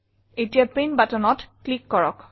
এতিয়া প্ৰিণ্ট buttonত ক্লিক কৰক